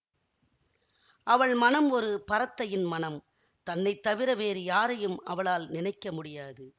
அவள் மனம் ஒரு பரத்தையின் மனம் தன்னை தவிர வேறு யாரையும் அவளால் நினைக்க முடியாது